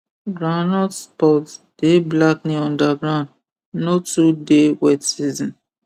groundnut pods dey blackening underground no too dey wet season